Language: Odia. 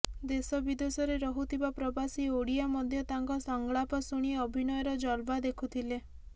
ଦେଶ ବିଦେଶରେ ରହୁଥିବା ପ୍ରବାସୀ ଓଡ଼ିଆ ମଧ୍ୟ ତାଙ୍କ ସଂଳାପ ଶୁଣି ଅଭିନୟର ଜଲୱା ଦେଖୁଥିଲେ